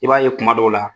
I b'a ye kuma dɔw la